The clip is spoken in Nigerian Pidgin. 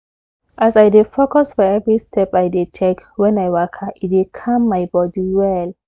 as i dey focus for every step i dey take when i waka e dey calm my body well